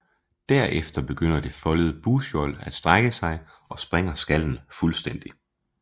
Derefter begynder det foldede bugskjold at strække sig og sprænger skallen fuldstændig